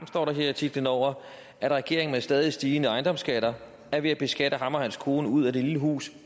står der her i titlen over at regeringen med stadig stigende ejendomsskatter er ved at beskatte ham og hans kone ud af det lille hus